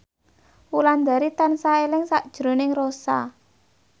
Wulandari tansah eling sakjroning Rossa